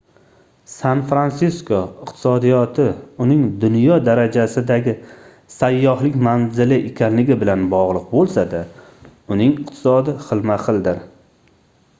san-fransisko iqtisodiyoti uning dunyo darajasidagi sayyohlik manzili ekanligi bilan bogʻliq boʻlsa-da uning iqtisodi xilma-xildir